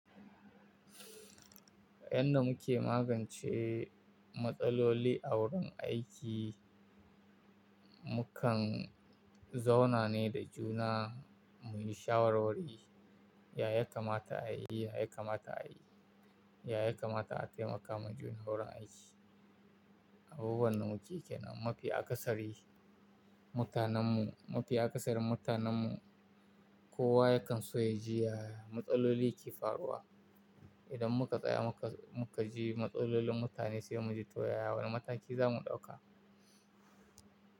Yadda muke magance matsaloli a wurin aiki, mu kan zauna ne da juna muyi shawarwari. Ya kamata a yi, ya kamata a yi, ya kamata a taimaka majun wurin aiki. Abubuwan namu cike ne, mafi akasari mutanenmu mafi akasarin mutanenmu kowa yakan so ya ji, "Ya matsaloli ke faruwa?" Idan muka tsaya muka ji matsalolin mutane sai mu ji, "To, yaya wani mataki za mu ɗauka?"